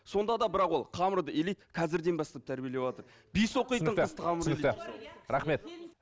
сонда да бірақ ол қамырды илейді қазірден бастап тәрбиелеватыр